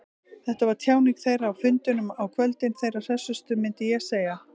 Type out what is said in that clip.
Þetta var tjáning þeirra, á fundunum á kvöldin, þeirra hressustu, myndi ég segja.